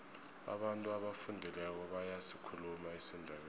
abantu abafundileko bayasikhuluma isindebele